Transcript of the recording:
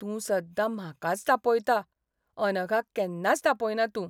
तूं सद्दां म्हाकाच तापयता, अनघाक केन्नाच तापयना तूं.